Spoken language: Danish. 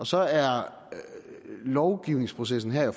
så er lovgivningsprocessen her